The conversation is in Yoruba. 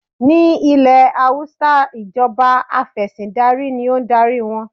Ní ilẹ̀ Hausa ìjọba Afẹ̀sìndarí ní o ń darí wọn.